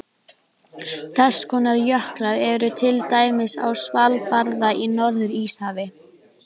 Þess konar jöklar eru til dæmis á Svalbarða í Norður-Íshafi.